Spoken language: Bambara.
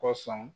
Kosɔn